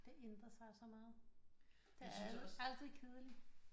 Det ændrer sig så meget det er altid kedeligt